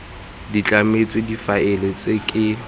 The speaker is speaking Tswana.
di tlametswe difaele tse ke